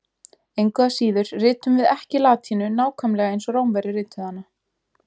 Engu að síður ritum við ekki latínu nákvæmlega eins og Rómverjar rituðu hana.